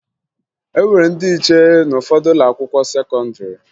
E nwere ndị nche n'ụfọdụ ụlọakwụkwọ sekọndịrị